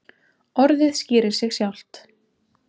Orðið skýrir sig sjálft.